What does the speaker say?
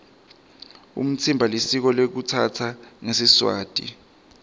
umtsimba lisiko lekutsatsana ngesiswati